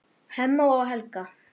Hemma og Helga.